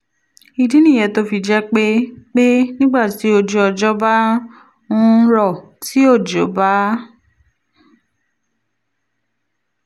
ìdí nìyẹn tó fi jẹ́ pé pé nígbà tí ojú ọjọ́ bá ń rọ̀ tí òjò bá